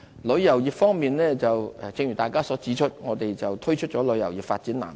旅遊業方面，正如大家所指出，我們推出了旅遊業發展藍圖。